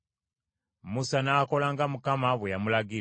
Musa n’akola nga Mukama bwe yamulagira.